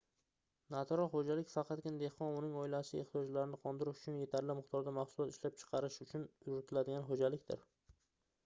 natural xoʻjalik faqatgina dehqon va uning oilasi ehtiyojlarini qondirish uchun yetarli miqdorda mahsulot ishlab chiqarish uchun yuritiladigan xoʻjalikdir